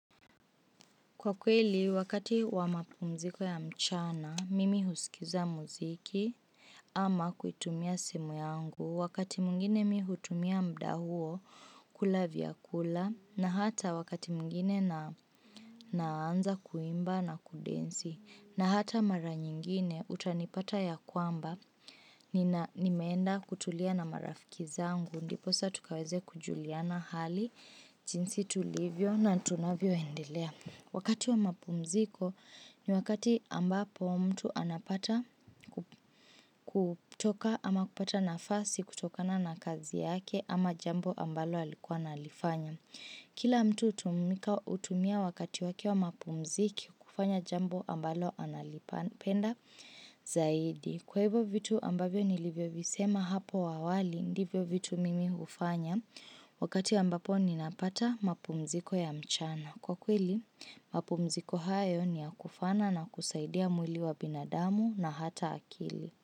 Kwa kweli, wakati wa mapumziko ya mchana, mimi husikiza mziki ama kuitumia simu yangu, wakati mwingine mimi hutumia muda huo, kula vyakula, na hata wakati mwingine naanza kuimba na kudensi, na hata mara nyingine utanipata ya kwamba, nimeenda kutulia na marafiki zangu, ndiposa tukaweze kujuliana hali, jinsi tulivyo na tunavyo endelea. Wakati wa mapumziko ni wakati ambapo mtu anapata kutoka ama kupata nafasi kutokana na kazi yake ama jambo ambalo alikuwa analifanya. Kila mtu hutumia wakati wake wa mapumziko kufanya jambo ambalo analipenda zaidi. Kwa hivyo vitu ambavyo nilivyo visema hapo awali ndivyo vitu mimi hufanya wakati ambapo ninapata mapumziko ya mchana. Kwa kweli, mapumziko hayo ni ya kufana na kusaidia mwili wa binadamu na hata akili.